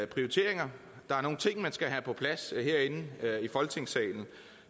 prioriteringer der er nogle ting man skal have på plads herinde i folketingssalen